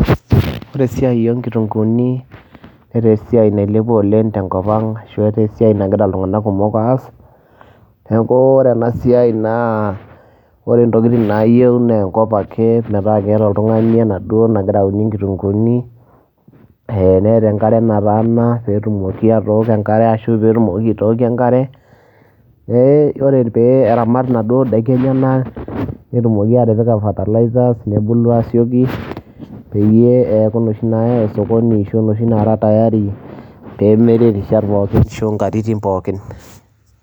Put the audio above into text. Ore esiai o nkitunguuni netaa esiai nailepua oleng' te nkop ang' ashu etaa esiai nagira iltung'anak kumok aas. Neeku ore ena siai naa ore ntokitin naayeu nee enkop ake metaa keeta oltung'ani enaduo nagira aunie nkitung'uuni ee neeta enkare nataana peetumoki atooko enkare ashu peetumoki aitooko enkare. Ee ore pee eramat enaduo daiki enyenak netumoki atipika fertilizers nebulu aasioki peyie eeku inoshi naayai osokoni ashu enoshi nara tayari peemiri rishat pookin ashu nkatitin pookin.